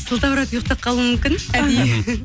сылтауратып ұйықтап қалуым мүмкін әдейі